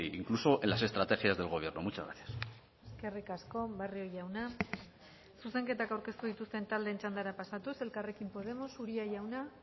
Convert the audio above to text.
incluso en las estrategias del gobierno muchas gracias eskerrik asko barrio jauna zuzenketak aurkeztu dituzten taldeen txandara pasatuz elkarrekin podemos uria jauna